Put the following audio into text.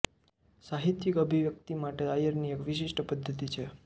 સાહિત્યિક અભિવ્યક્તિ માટે આયરની એક વિશિષ્ટ પદ્ધતિ છે